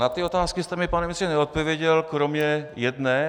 Na ty otázky jste mi, pane ministře, neodpověděl, kromě jedné.